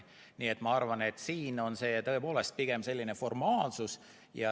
Nii et ma arvan, et siin on see tõepoolest pigem formaalsus.